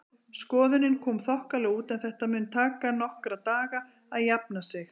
Skoðunin kom þokkalega út en þetta mun taka nokkra daga að jafna sig.